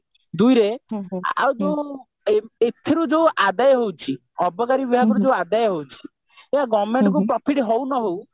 ଦୁଇରେ ଆଉ କଣ ଏଥିରୁ ଯୋଉ ଆଦାୟ ହେଉଛି ଅବକାରୀ ବ୍ୟୟରୁ ଯୋଉ ଆଦାୟ ହଉଛି ସେ government କୁ profit ହଉ ନ ହଉ